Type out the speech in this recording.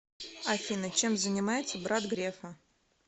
афина чем занимается брат грефа